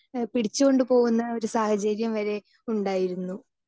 Speaker 2 ഏഹ് പിടിച്ചോണ്ട് പോകുന്ന ഒരു സാഹചര്യം വരെ ഉണ്ടായിരുന്നു.